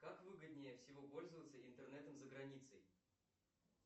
как выгоднее всего пользоваться интернетом за границей